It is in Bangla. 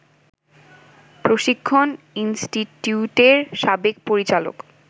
প্রশিক্ষণ ইন্সটিটিউটের সাবেক পরিচালক